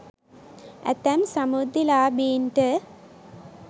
ඇතැම් සමෘද්ධිලාභීන්ට